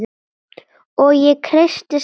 Og ég kreisti saman lófana.